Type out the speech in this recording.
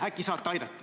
Äkki saate aidata.